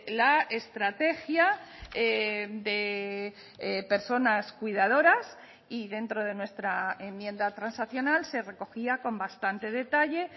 la estrategia de personas cuidadoras y dentro de nuestra enmienda transaccional se recogía con bastante detalle